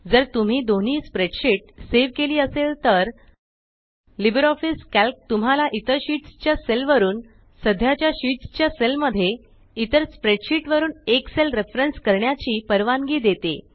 जर तुम्ही दोन्ही स्प्रेडशीट सेव केली असेल तर लिबर ऑफीस कॅल्क तुम्हाला इतर शीट्स च्या सेल वरुन सद्याच्या शीट्स च्या सेल मध्ये इतर स्प्रेडशीट वरुन एक सेल रेफरेन्स करण्याची परवानगी देते